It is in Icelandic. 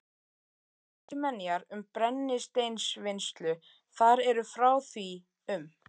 Elstu menjar um brennisteinsvinnslu þar eru frá því um